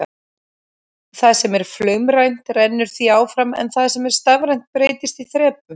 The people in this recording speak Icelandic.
Það sem er flaumrænt rennur því áfram en það sem er stafrænt breytist í þrepum.